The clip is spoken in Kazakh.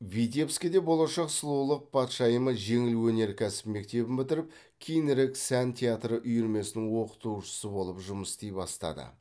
витебскіде болашақ сұлулық патшайымы жеңіл өнеркәсіп мектебін бітіріп кейінірек сән театры үйірмесінің оқытушысы болып жұмыс істей бастады